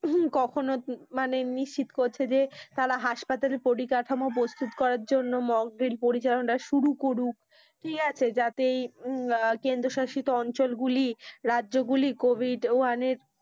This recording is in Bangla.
কখন মানে নিশ্চিত করছে যে তারা হাসপাতালে পরিকাঠামো প্রস্তুত করার জন্য mock drill পরিচালনা শুরু করুক ঠিক আছে যাতে ইউ হম কেন্দ্রে শাসিত অঞ্চল গুলি, রাজ্য গুলি COVID one এর,